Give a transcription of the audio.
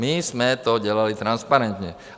My jsme to dělali transparentně.